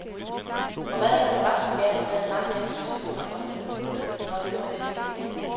Og hvad er der forresten galt med at mange mennesker ser underholdning, når det nu er det, de kan lide.